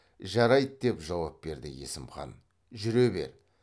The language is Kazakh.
жарайды деп жауап берді есім хан жүре бер